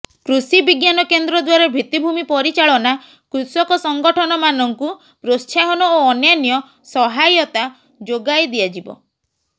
କୃଷି ବିଜ୍ଞାନକେନ୍ଦ୍ର ଦ୍ୱାରା ଭିତ୍ତିଭୂମି ପରିଚାଳନା କୃଷକ ସଂଗଠନମାନଙ୍କୁ ପ୍ରୋତ୍ସାହନ ଓ ଅନ୍ୟାନ୍ୟ ସହାୟତା ଯୋଗାଇ ଦିଆଯିବ